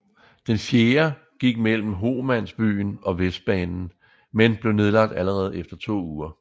Den fjerde gik mellem Homansbyen og Vestbanen men blev nedlagt allerede efter to uger